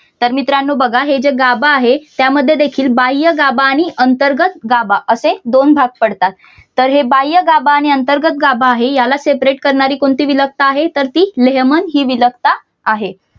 तर मित्रानो बघा हे जे गाभा आहे त्यामध्ये देखील बाह्य गाभा आणि अंतर्गत गाभा असे दोन भाग पडतात तर हे बाह्यगाभा आहे आणि अंतर्गत गाभा आहे तर याला separate करणारी कोणती विलकता आहे तर ती लेहमन हि विलकता आहे.